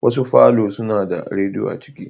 Wasu Falo suna da radiyo a cikin.